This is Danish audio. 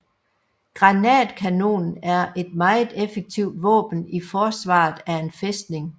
Granatkanonen er et meget effektivt våben i forsvaret af en fæstning